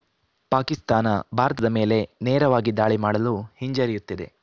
ಪಾಕಿಸ್ತಾನ ಭಾರತದ ಮೇಲೆ ನೇರವಾಗಿ ದಾಳಿ ಮಾಡಲು ಹಿಂಜರಿಯುತ್ತಿದೆ